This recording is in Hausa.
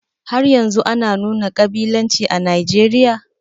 Haryanzun ana nuna ƙabilanci a Nijeriya?